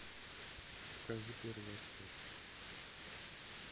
покажи первый отряд